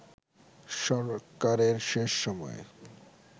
সরকারের শেষ সময়ে